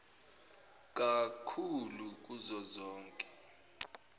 kak hulu kuzozonke